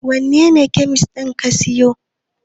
wanene kyamis ka siyo?